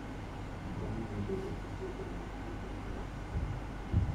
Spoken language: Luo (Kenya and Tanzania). Cham nyalo bedo gi tuoche mag kute